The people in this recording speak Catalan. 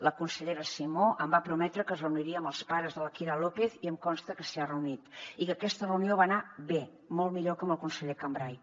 la consellera simó em va prometre que es reuniria amb els pares de la kira lópez i em consta que s’hi ha reunit i que aquesta reunió va anar bé molt millor que amb el conseller cambray